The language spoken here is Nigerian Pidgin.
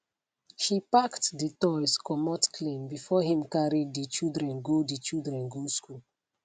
she packed de toys commot clean before him carry de children go de children go school